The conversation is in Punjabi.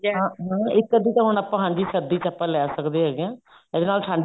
ਹਾਂ ਹਾਂ ਇੱਕ ਅੱਧੀ ਤਾਂ ਹੁਣ ਆਪਾਂ ਹਾਂਜੀ ਸਰਦੀ ਚ ਆਪਾਂ ਲੈ ਸਕਦੇ ਹੈਗਾ ਹਾਂ ਇਹਦੇ ਨਾਲ ਠੰਡ